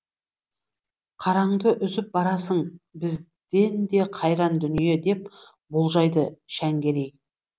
қараңды үзіп барасың бізден де қайран дүние деп болжайды шәңгерей